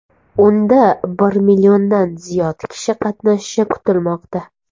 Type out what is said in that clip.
Unda bir milliondan ziyod kishi qatnashishi kutilmoqda.